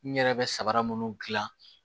N yɛrɛ bɛ sabara munnu gilan